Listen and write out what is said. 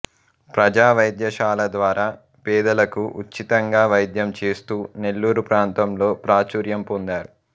ప్రజావైద్యశాల ద్వారా పేదలకు ఉచితంగా వైద్యం చేస్తూ నెల్లూరు ప్రాంతంలో ప్రాచుర్యం పొందారు